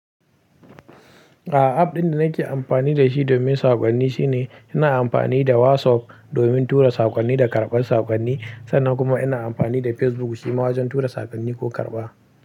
A, app ɗin da nake amfani da shi domin saƙonni shine ina amfani da WhatsApp domin tura saƙonni da karɓar saƙonni, sannan kuma ina amfani da Facebook shi ma wajen tura saƙonni ko karɓa.